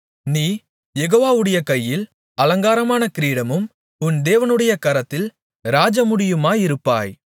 நீ யெகோவாவுடைய கையில் அலங்காரமான கிரீடமும் உன் தேவனுடைய கரத்தில் ராஜமுடியுமாயிருப்பாய்